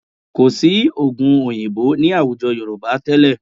Kò sí oògùn òyìnbó ní àwùjọ Yorùbá tẹ́lẹ̀